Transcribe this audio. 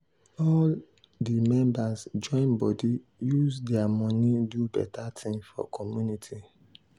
all di members join body use their money do better thing for community.